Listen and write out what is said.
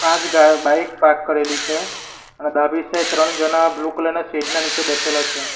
આજ ગા bike park કરેલી છે આ ડાબી સાઈડ ત્રણ જણા બ્લુ કલર ના શેડ ના નીચે બેસેલા છે.